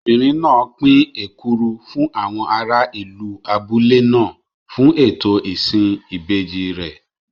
Obìnrin náà pín èkuru fún àwọn ará ìlú abúlé náà fún ètò ìsìn ìbejì rẹ̀.